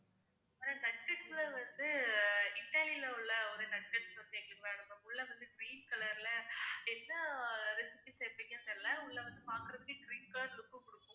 அப்புறம் nuggets ல வந்து இத்தாலில உள்ள ஒரு nuggets வந்து எங்களுக்கு வேணும் ma'am. உள்ள வந்து green color ல என்ன recipe சேர்ப்பிங்கன்னு தெரியல உள்ள வந்து பாக்குறதுக்கே green color look உ குடுக்கும்.